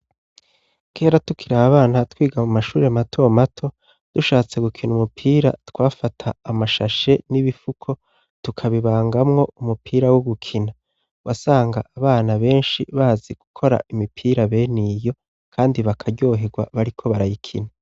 Kera tukiri abana twiga mu mashure mato mato, dushatse gukina umupira, twafata amashashe n'ibifuko tukabibangamwo umupira wo gukina. Wasanga abana benshi bazi gukora imipira bene iyo kandi bakaryohegwa bariko barayikina.